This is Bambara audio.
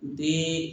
Den